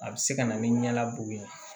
A bɛ se ka na ni ɲɛ labɔ ye